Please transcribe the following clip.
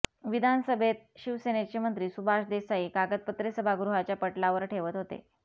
विधानसभेत शिवसेनेचे मंत्री सुभाष देसाई कागदपत्रे सभागृहाच्या पटलावर ठेवत होते